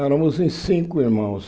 Éramos em cinco irmãos.